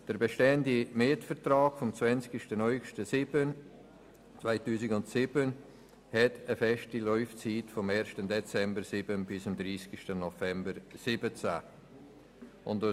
Der bestehende Mietvertrag vom 20. August 2007 hat eine feste Laufzeit von 1. Dezember 2007 bis 30. November 2017.